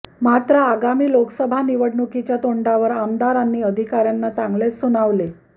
मात्र आगामी लोकसभा निवडणुकीच्या तोंडावर आमदारांनी अधिकार्यांना चांगलेच सुनावले